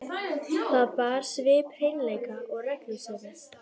Það bar svip hreinleika og reglusemi.